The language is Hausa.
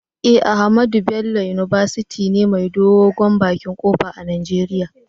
Eh, Ahmadu Bello university ne mai dogon bakin kofa a nageria.